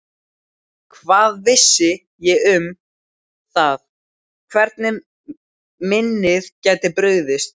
Hvað vissi ég um það hvernig minnið gæti brugðist?